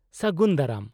-ᱥᱟᱹᱜᱩᱱ ᱫᱟᱨᱟᱢ ᱾